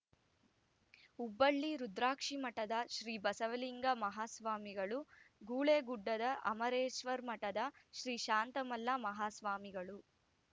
ಹುಬ್ಬಳ್ಳಿ ರುದ್ರಾಕ್ಷಿಮಠದ ಶ್ರೀ ಬಸವಲಿಂಗ ಮಾಹಾಸ್ವಾಮಿಗಳು ಗುಳೇದಗುಡ್ಡ ಅಮರೇಶ್ವರಮಠದ ಶ್ರೀ ಶಾಂತಮಲ್ಲ ಮಾಹಾಸ್ವಾಮಿಗಳು